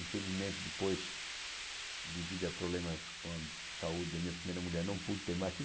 Infelizmente, depois, devido a problemas com a saúde da minha primeira mulher, não pude ter mais